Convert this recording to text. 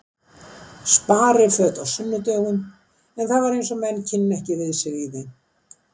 Spariföt á sunnudögum en það var eins og menn kynnu ekki við sig í þeim.